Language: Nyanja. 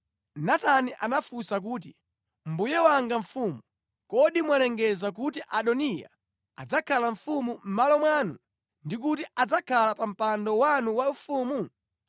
Natani anafunsa kuti, “Mbuye wanga mfumu, kodi mwalengeza kuti Adoniya adzakhala mfumu mʼmalo mwanu, ndi kuti adzakhala pa mpando wanu waufumu?